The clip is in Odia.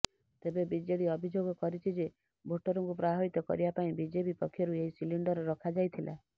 ତେବେ ବିଜେଡି ଅଭିଯୋଗ କରିଛି ଯେ ଭୋଟରଙ୍କୁ ପ୍ରଭାବିତ କରିବା ପାଇଁ ବିଜେପି ପକ୍ଷରୁ ଏହି ସିଲିଣ୍ଡର ରଖାଯାଇଥିଲା